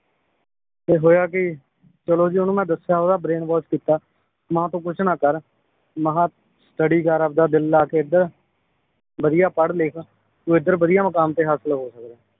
ਤੇ ਹੋਇਆ ਕੀ ਚਲੋ ਜੀ ਓਹਨੂੰ ਮੈ ਦੱਸਿਆ ਓਹਦਾ brain wash ਕੀਤਾ ਮਾਹ ਤੂੰ ਕੁਛ ਨਾ ਕਰ ਮਾਹ ਤੜੀ ਕਰ ਆਪਦਾ ਦਿੱਲ ਲਾ ਕੇ ਏਧਰ ਵਧੀਆ ਪੜ੍ਹ ਲਿਖ ਤੂੰ ਏਧਰ ਵਧੀਆ ਮੁਕਾਮ ਤੇ ਹਾਸਿਲ ਹੋ ਫਿਰ